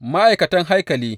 Ma’aikatan haikali.